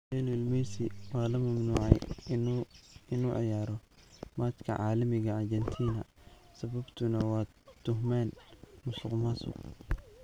Lionel Messi waa la mamnuucay in uu ciyaaro matcha caalamiga Argentina, sababtuna waa tuhmaan musuqmaasuq.